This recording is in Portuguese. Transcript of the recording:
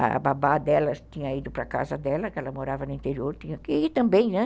A babá dela tinha ido para a casa dela, que ela morava no interior, tinha que ir também, né?